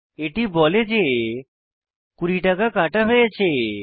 এটি বলে যে 20 টাকা কাটা হয়েছে